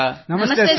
ನಮಸ್ತೆ ಸರ್